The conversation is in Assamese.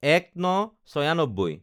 ০১/০৯/৯৬